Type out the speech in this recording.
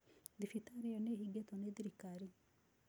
Thibitari ĩyo nĩ ĩhingĩtwo nĩ thirikari.